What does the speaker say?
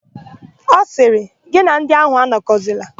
Ọ sịrị, "gị na ndị áhụ̀ anọkọzila"!